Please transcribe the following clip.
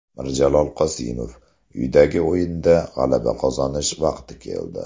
Mirjalol Qosimov: Uydagi o‘yinda g‘alaba qozonish vaqti keldi.